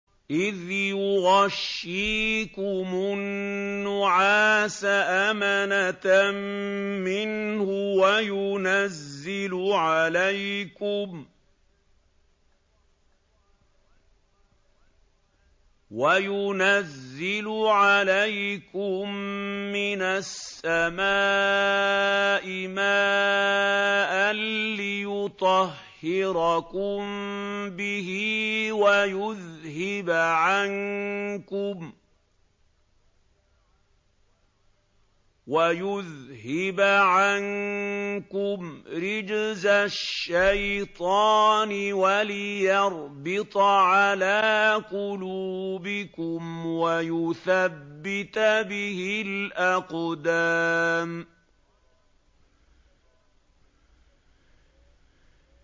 إِذْ يُغَشِّيكُمُ النُّعَاسَ أَمَنَةً مِّنْهُ وَيُنَزِّلُ عَلَيْكُم مِّنَ السَّمَاءِ مَاءً لِّيُطَهِّرَكُم بِهِ وَيُذْهِبَ عَنكُمْ رِجْزَ الشَّيْطَانِ وَلِيَرْبِطَ عَلَىٰ قُلُوبِكُمْ وَيُثَبِّتَ بِهِ الْأَقْدَامَ